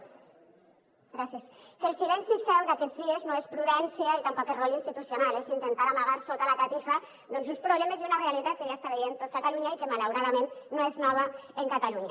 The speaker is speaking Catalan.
gràcies que el silenci seu d’aquests dies no és prudència i tampoc és rol institucional és intentar amagar sota la catifa uns problemes i una realitat que ja està veient tot catalunya i que malauradament no és nova en catalunya